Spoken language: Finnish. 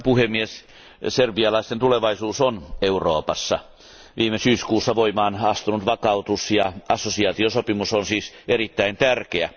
Arvoisa puhemies, serbialaisten tulevaisuus on Euroopassa. Viime syyskuussa voimaan astunut vakautus ja assosiaatiosopimus on siis erittäin tärkeä.